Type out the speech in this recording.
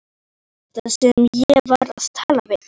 Hver var þetta sem ég var að tala við?